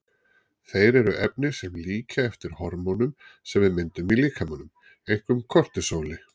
Þeir eru efni sem líkja eftir hormónum sem við myndum í líkamanum, einkum kortisóli.